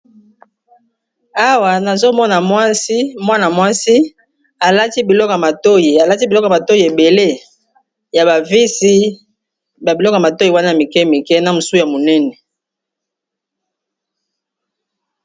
Awa nazomona mwana mwasi alati biloko matoi, ebele ya bavisi babiloko matoi wana mike mike na mosu ya monene.